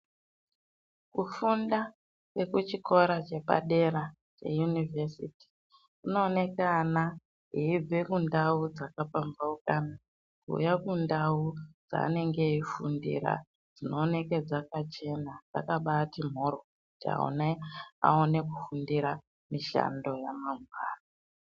Kufunda kwe kuchikora che padera che yunivhesiti kuno oneka ana eyibve kundau dzaka pambaukana kuuya kundau dzaanenge eyi fundira dzinooneke dzaka chena dzakabaiti mhoryo kuti ana aone kufundira mishando ya mangwani.